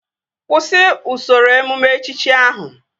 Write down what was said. Kwụsị usoro emume echichi ahụ!